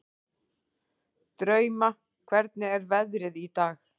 Drauma, hvernig er veðrið í dag?